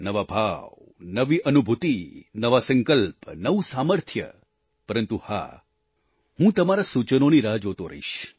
નવા ભાવ નવી અનુભૂતિ નવા સંકલ્પ નવું સામર્થ્ય પરંતુ હા હું તમારા સૂચનોની રાહ જોતો રહીશ